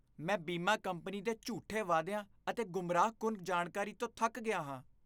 ਮੈਂ ਬੀਮਾ ਕੰਪਨੀ ਦੇ ਝੂਠੇ ਵਾਅਦਿਆਂ ਅਤੇ ਗੁੰਮਰਾਹਕੁੰਨ ਜਾਣਕਾਰੀ ਤੋਂ ਥੱਕ ਗਿਆ ਹਾਂ।